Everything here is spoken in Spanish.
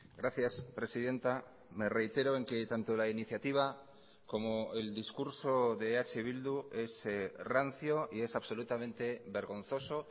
gracias presidenta me reitero en que tanto la iniciativa como el discurso de eh bildu es rancio y es absolutamente vergonzoso